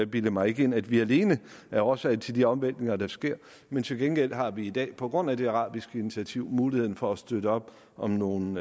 bilder mig ind at vi alene er årsag til de omvæltninger der sker men til gengæld har vi i dag på grund af det arabiske initiativ muligheden for at støtte op om nogle